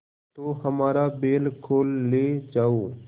तो हमारा बैल खोल ले जाओ